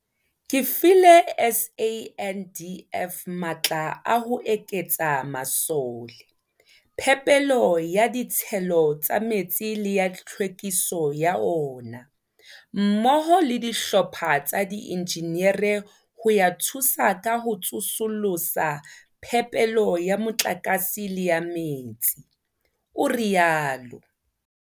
Ke file SANDF matla a ho eketsa masole, phepelo ya ditshelo tsa metsi le ya tlhwekiso ya ona, mmoho le dihlopha tsa diinjinere ho ya thusa ka ho tsosolosa phepelo ya motlakase le ya metsi, o rialo.